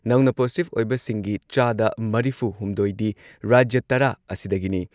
ꯅꯧꯅ ꯄꯣꯖꯤꯇꯤꯚ ꯑꯣꯏꯕꯁꯤꯡꯒꯤ ꯆꯥꯗ ꯃꯔꯤꯐꯨꯍꯨꯝꯗꯣꯏꯗꯤ ꯔꯥꯖ꯭ꯌ ꯇꯔꯥ ꯑꯁꯤꯗꯒꯤꯅꯤ